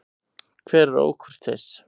Hver er ókurteis?